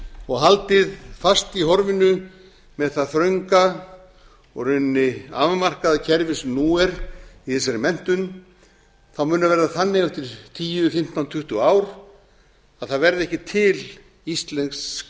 og haldið fast í horfinu með það þrönga og í rauninni afmarkaða kerfi sem nú er í þessari menntun mun það verða þannig eftir tíu fimmtán tuttugu ár að það verða ekki til íslensk